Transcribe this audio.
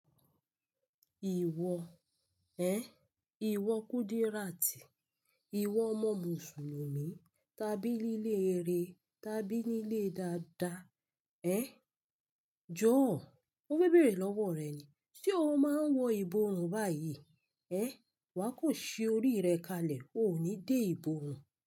Ìwọ, ẹ? Ìwọ Kúdíràtì, ìwọ ọmọ Mùsùlùmí tàbí níle rere tàbí nílé dáadáa. Ẹ? Jọ̀ọ́, mo fẹ́ bèrè lọ́wọ́ rẹ ni, ṣe o máa ń wọ ìborùn báyìí? Ẹ? Wà kò ṣe orí rẹ kalẹ̀, o ò ní dé ìborùn.